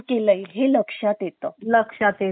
लक्षात येतो हो तो काम करतो